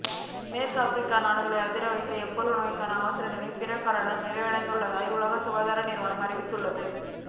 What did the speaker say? மேற்கு ஆப்பிரிக்க நாடுகளை அதிர வைத்த எபோலா நோய்க்கான அவசர நிலை பிரகடனம் நிறைவடைந்துள்ளதாக உலக சுகாதார நிறுவனம் அறிவித்துள்ளது